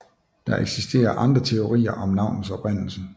Der eksisterer andre teorier om navnets oprindelse